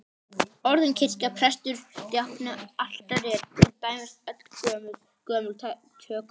Orðin kirkja, prestur, djákni, altari eru til dæmis öll gömul tökuorð.